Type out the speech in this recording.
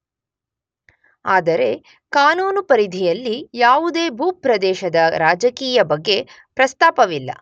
ಆದರೆ ಕಾನೂನು ಪರಿಧಿಯಲ್ಲಿ ಯಾವುದೇ ಭೂಪ್ರದೇಶದ ರಾಜಕೀಯ ಬಗ್ಗೆ ಪ್ರಸ್ತಾಪವಿಲ್ಲ.